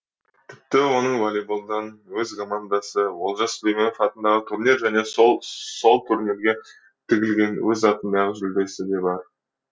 тіпті оның волейболдан өз командасы олжас сүлейменов атындағы турнир және сол турнирге тігілген өз атындағы жүлдесі де бар